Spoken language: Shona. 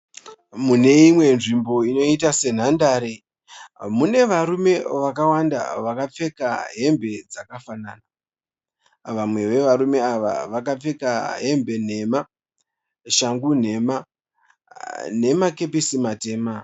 Mune imwe nzvimbo inoita senhandare mune varume vakawanda vakapfeka hembe dzakafanana . Vamwe vevarume ava vakapfeka hembe nhema, shangu nhema nemakepsei matema.